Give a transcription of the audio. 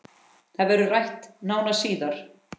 Það verður rætt nánar síðar